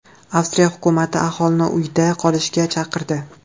Avstriya hukumati aholini uyda qolishga chaqirdi.